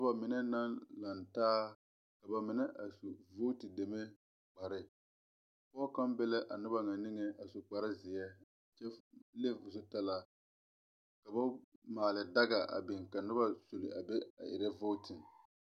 Noba mine naŋ lantaa ka ba mine a su vooti deme kparre. Pɔge kaŋa be la a noba ŋa niŋe a su kparre zeɛ, kyɛ f leŋ o zu talaa, ka ba maale daga a biŋ ka noba zuli a be a erɛ vootin.